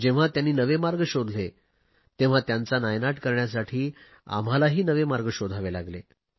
जेव्हा त्यांनी नवे मार्ग शोधले तेव्हा त्यांचा नायनाट करण्यासाठी आम्हालाही नवे मार्ग शोधावे लागले